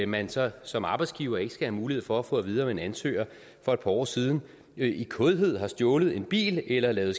man så som arbejdsgiver ikke skal have mulighed for at få at vide om en ansøger for et par år siden i kådhed har stjålet en bil eller lavet